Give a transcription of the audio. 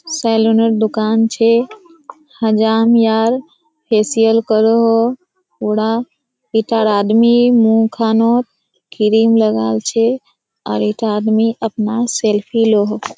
सेलुनेर दुकान छे हजाम यार फशियल करोहो उरा पीटी आदमी मुह खानोत क्रीम लगावल छे और एकटा आदमी अपना सेल्फी लो हो।